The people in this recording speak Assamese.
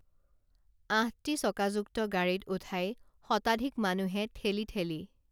আঠটি চকাযুক্ত গাড়ীত উঠাই শতাধিক মানুহে ঠেলি ঠেলি